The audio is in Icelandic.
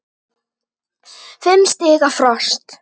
Fimm stiga frost.